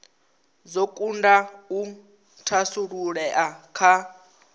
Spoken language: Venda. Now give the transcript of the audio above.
dzo kunda u thasululea kha